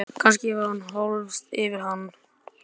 Kannski hefur hann hvolfst yfir hana.